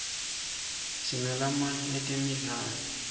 sinalamaye etemidlalo